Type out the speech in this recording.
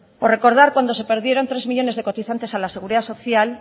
o recordar cuando se perdieron tres millónes de cotizantes a la seguridad social